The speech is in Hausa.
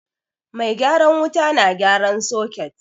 Mai gyaran wuta na gyaran soket